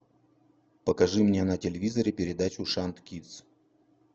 покажи мне на телевизоре передачу шант кидс